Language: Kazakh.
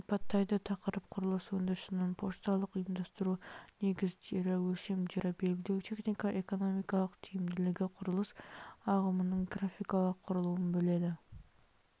сипаттайды тақырып құрылыс өндірісінің пошталық ұйымдастыру негіздері өлшемдерді белгілеу технико-экономикалық тиімділігі құрылыс ағымының графикалық құрылуын біледі